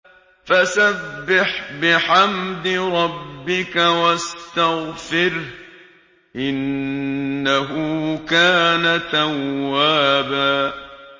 فَسَبِّحْ بِحَمْدِ رَبِّكَ وَاسْتَغْفِرْهُ ۚ إِنَّهُ كَانَ تَوَّابًا